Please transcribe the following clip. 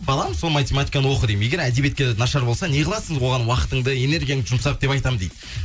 балам сол математиканы оқы деймін егер әдебиетке нашар болсаң не қыласың оған уақытыңды энергияңның жұмсап деп айтамын дейді